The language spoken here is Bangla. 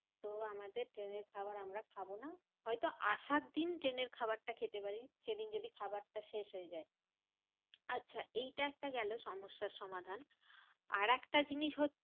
তো আমাদের ট্রেনের খাবার আমরা খাবো না। হয়তো আসার দিন ট্রেনের খাবারটা খেতে পারি সেদিন যদি খাবার টা শেষ হয় যায়। আচ্ছা এইটা একটা গেলো সমস্যার সমাধান। আরেকটা জিনিস হচ্ছে,